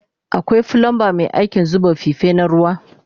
Akwai flumba Mai aikin zuba fife na ruwa